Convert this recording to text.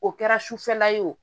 O kɛra sufɛla ye o